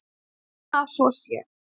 En ég vona að svo sé.